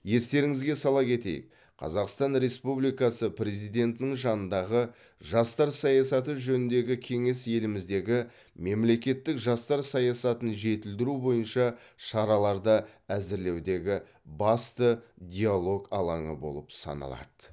естеріңізге сала кетейік қазақстан республикасы президентінің жанындағы жастар саясаты жөніндегі кеңес еліміздегі мемлекеттік жастар саясатын жетілдіру бойынша шараларды әзірлеудегі басты диалог алаңы болып саналады